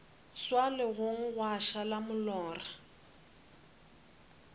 swa legong gwa šala molora